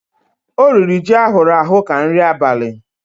O riri ji ahụrụ ahụ ka nri abali.